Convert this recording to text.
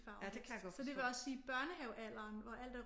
Farver så det vil også sige børnehavealderen hvor alt er